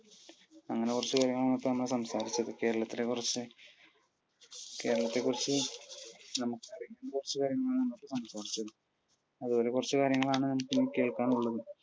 അങ്ങനെകുറച്ചു കാര്യങ്ങളാണ് ഇപ്പോൾ നമ്മൾ സംസാരിച്ചത്. കേരളത്തിലെ കുറച്ചു, കേരളത്തെക്കുറിച്ച് നമുക്കറിയുന്ന കുറച്ചുകാര്യങ്ങൾ ആണ് നമ്മൾ സംസാരിച്ചത്. അതുപോലെ കുറച്ചു കാര്യങ്ങളാണ് ഇനി കേക്കാനുള്ളതും.